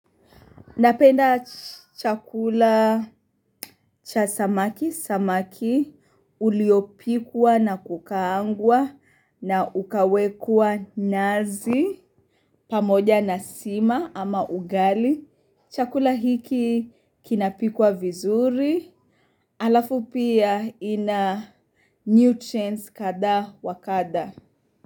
Napenda chakula cha samaki, samaki, uliopikwa na kukaangwa na ukawekwa nazi, pamoja na sima ama ugali. Chakula hiki kinapikwa vizuri, halafu pia ina nutrients kadhaa wa kadha.